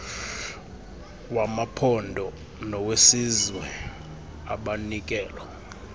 wamaphondo nowesizwe abanikelo